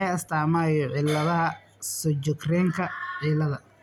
Waa maxay astamaha iyo calaamadaha Sjogrenka ciladha?